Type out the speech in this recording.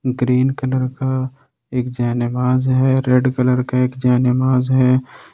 Green colour का एकजयमांज है रेड कलर का एक जयमांज है।